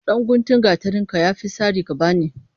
Ɗan guntun gatarin ka ya fi sari ka bani.